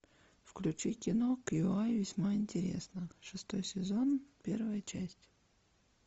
включи кино кьюай весьма интересно шестой сезон первая часть